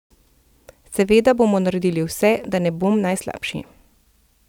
Seveda bom naredil vse, da ne bom najslabši ...